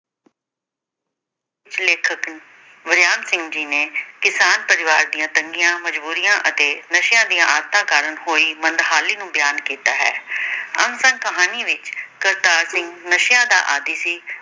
ਪ੍ਰਸਿੱਧ ਲੇਖਕ ਵਰਿਆਮ ਸਿੰਘ ਜੀ ਨੇ ਕਿਸਾਨ ਪਰਿਵਾਰ ਦੀਆਂ ਤੰਗੀਆਂ ਮਜ਼ਬੂਰੀਆਂ ਅਤੇ ਨਸ਼ਿਆਂ ਦੀਆਂ ਆਦਤਾਂ ਕਾਰਨ ਹੋਈ ਮੰਦਹਾਲੀ ਨੂੰ ਬਿਆਨ ਕੀਤਾ ਹੈ । ਆਮਦਨ ਕਹਾਣੀ ਵਿੱਚ ਕਰਤਾਰ ਸਿੰਘ ਨਸ਼ਿਆਂ ਦਾ ਆਦੀ ਸੀ।